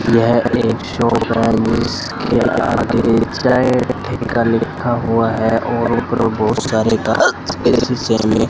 यह एक शॉप है जिसके आगे लिखा हुआ है और ऊपर बहुत सारे शीशा में--